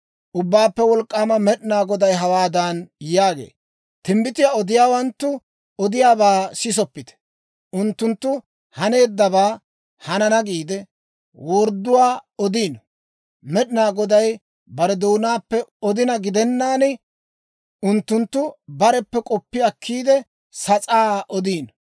Ubbaappe Wolk'k'aama Med'inaa Goday hawaadan yaagee; «Timbbitiyaa odiyaawanttu odiyaabaa sisoppite. Unttunttu hanennabaa, hanana giide, wordduwaa odiino. Med'inaa Goday bare doonaappe odina gidennaan, unttunttu bareppe k'oppi akkiide, sas'aa odiino.